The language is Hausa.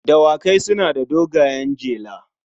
Dawakai suna da dogayen jela.